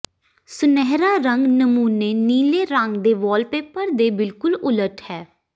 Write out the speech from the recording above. ਸੁਨਹਿਰਾ ਰੰਗ ਨਮੂਨੇ ਨੀਲੇ ਰੰਗ ਦੇ ਵਾਲਪੇਪਰ ਦੇ ਬਿਲਕੁਲ ਉਲਟ ਹੈ